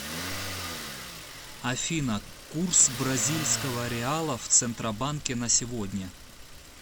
афина курс бразильского реала в центробанке на сегодня